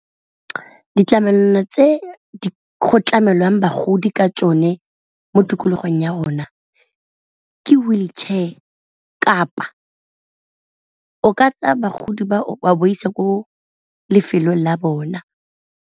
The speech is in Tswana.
Ditlamelwana tse di go tlamelwang bagodi ka tsone mo tikologong ya rona ke wheelchair kapa o ka tsa bagodi ba o a baisa ko lefelong la bona.